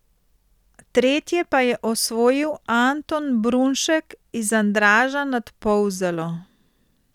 Tretje pa je osvojil Anton Brunšek iz Andraža nad Polzelo.